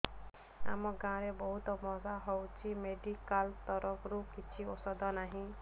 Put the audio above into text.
ଆମ ଗାଁ ରେ ବହୁତ ମଶା ହଉଚି ମେଡିକାଲ ତରଫରୁ କିଛି ଔଷଧ ନାହିଁ